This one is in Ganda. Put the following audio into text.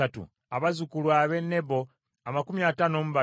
abazzukulu ab’e Nebo amakumi ataano mu babiri (52),